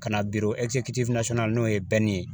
Ka na biro na n'o ye ye